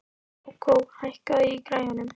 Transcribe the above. Kókó, hækkaðu í græjunum.